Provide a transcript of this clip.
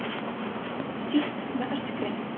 Síst með öskrinu.